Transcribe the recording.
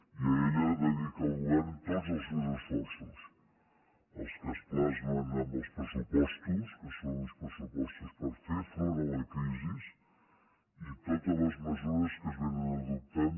i a ella dedica el govern tots els seus esforços els que es plasmen en els pressupostos que són uns pressupos·tos per fer front a la crisi i totes les mesures que s’han anat adoptant